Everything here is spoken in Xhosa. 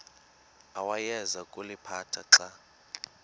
awayeza kuliphatha xa